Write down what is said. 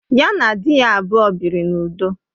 Ya na di ya abụọ biri n'udo